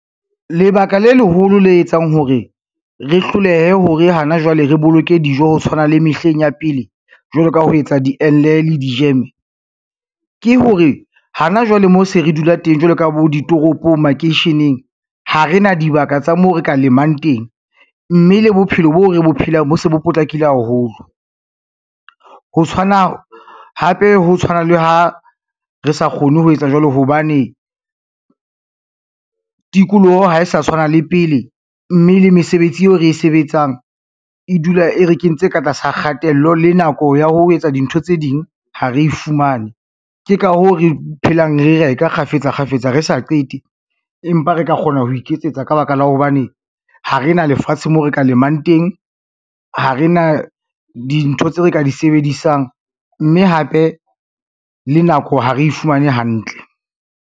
Lebaka le leholo le etsang hore re hlolehe hore hana jwale re boloke dijo ho tshwana le mehleng ya pele, jwalo ka ho etsa diengle le dijeme, ke hore hana jwale moo se re dula teng jwalo ka bo ditoropong, makeisheneng ha rena dibaka tsa moo re ka lemang teng, mme le bophelo bo re bo phelang, bo se bo potlakile haholo. Hape ho tshwana le ha re sa kgone ho etsa jwalo hobane, tikoloho ha e sa tshwana le pele, mme le mesebetsi eo re e sebetsang e dula e re kentse ka tlasa kgatello le nako ya ho etsa dintho tse ding ha re e fumane. Ke ka hoo re phelang, re reka kgafetsa kgafetsa re sa qete, empa re ka kgona ho iketsetsa ka baka la hobane ha re na lefatshe moo re ka lemang teng, ha re na dintho tseo re ka di sebedisang, mme hape le nako ha re fumane hantle.